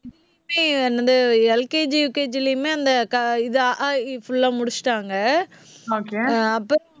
LKG UKG லியுமே, அந்த க அ ஆ இ ஈ full ஆ முடிச்சுட்டாங்க. ஆஹ் அப்ப